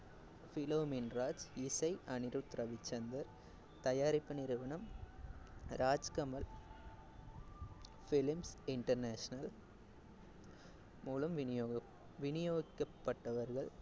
பிலோமின் ராஜ், இசை அனிருத் ரவிச்சந்தர், தயாரிப்பு நிறுவனம் ராஜ் கமல் films international மூலம் விநியோக~ விநியோகிக்கப்பட்டவர்கள்